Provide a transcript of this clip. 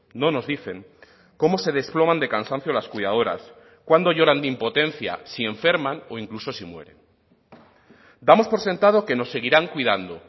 no nos dicen cómo se desploman de cansancio las cuidadoras cuándo lloran de impotencia si enferman o incluso si mueren damos por sentado que nos seguirán cuidando